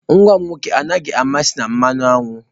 Nwa m nwoke enweghị mmasị na mmanụ aṅụ.